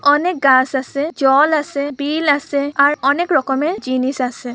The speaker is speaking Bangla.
অনেক গাছ আছে জল আছে বিল আছে আর অনেক রকমের জিনিস আছে ।